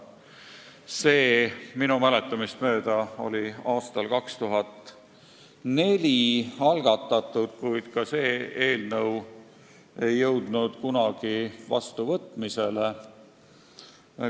Selline eelnõu algatati minu mäletamist mööda aastal 2004, kuid ka see ei jõudnud vastuvõtmiseni.